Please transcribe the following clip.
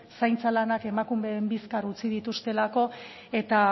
zaintza lanak emakumeen bizkar utzi dituztelako eta